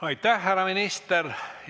Aitäh, härra minister!